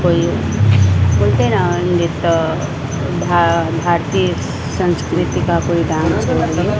कोई भारतीय संस्कृति का कोई डांस हो रही।